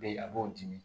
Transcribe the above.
Be yen a b'o dimi